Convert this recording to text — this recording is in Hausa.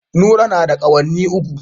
Nura na da kawunni uku.